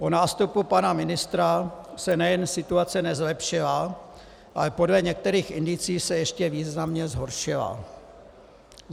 Po nástupu pana ministra se nejen situace nezlepšila, ale podle některých indicií se ještě významně zhoršila.